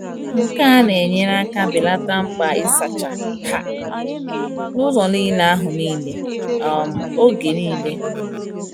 Nke a na-enyere aka belata mkpa ịsacha um ụlọ anụ niile um oge niile.